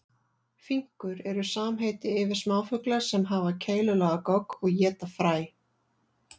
Finkur eru samheiti yfir smáfugla sem hafa keilulaga gogg og éta fræ.